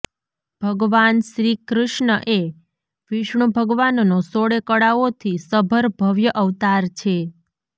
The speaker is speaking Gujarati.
ભગવાન શ્રીકૃષ્ણ એ વિષ્ણુ ભગવાનનો સોળે કળાઓથી સભર ભવ્ય અવતાર છે